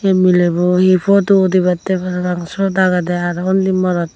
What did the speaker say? ey milebo hi podu udibattey parapang sot agedey arow undi morotto.